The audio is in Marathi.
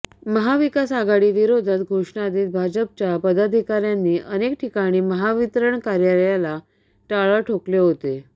महाविकास आघाडीविरोधात घोषणा देत भाजपच्या पदाधिकाऱ्यांनी अनेक ठिकाणी महावितरण कार्यालयाला टाळं ठोकले होते